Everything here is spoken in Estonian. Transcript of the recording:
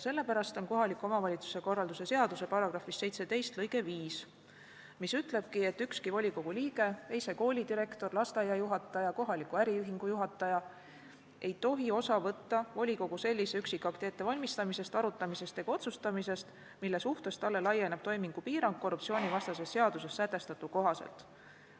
Sellepärast kohaliku omavalitsuse korralduse seaduse § 17 lõige 5 ütlebki, et ükski volikogu liige, ei see koolidirektor, lasteaiajuhataja ega kohaliku äriühingu juhataja ei tohi osa võtta volikogu sellise üksikakti ettevalmistamisest, arutamisest ega otsustamisest, mille suhtes talle laieneb toimingupiirang korruptsioonivastases seaduses sätestatu kohaselt.